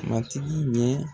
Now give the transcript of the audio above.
Matigi ye